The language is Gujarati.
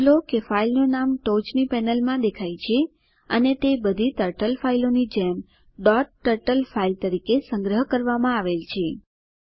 નોંધ લો કે ફાઈલનું નામ ટોચની પેનલમાં દેખાય છે અને તે બધી ટર્ટલ ફાઇલો ની જેમ ડોટ ટર્ટલ ફાઇલ તરીકે સંગ્રહ કરવામાં આવેલ છે